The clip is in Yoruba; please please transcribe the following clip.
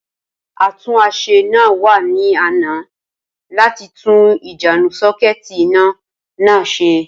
Atúnáṣe náà wa ni àná láti tun ìjánu sakuiiti iná náà se